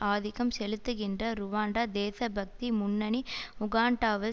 ஆதிக்கம் செலுத்துகின்ற ருவண்டா தேசபக்தி முன்னணி உகாண்டாவில்